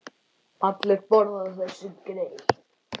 Allir borða þessi grey.